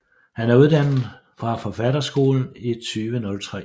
Han er uddannet fra Forfatterskolen i 2003